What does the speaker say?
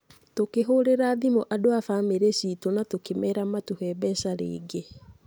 Tũkĩhũrĩra thimũ andũ a bamĩrĩ ciitũ na tũkĩmeera matũhe mbeca rĩngĩ.